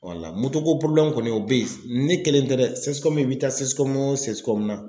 ko kɔni o bɛ ye ne kelen tɛ dɛ CSCOM i bɛ taa CSCOM o CSCOM na